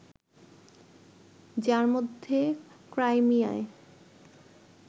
যার মধ্যে ক্রাইমিয়ায়